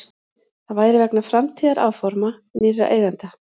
Það væri vegna framtíðaráforma nýrra eigenda